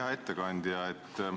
Hea ettekandja!